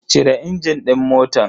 Cire injin din motan.